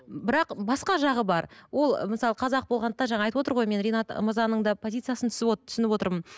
бірақ басқа жағы бар ол ы мысалы қазақ болғандықтан жаңа айтып отыр ғой мен ринат мырзаның да позициясын түсініп отырмын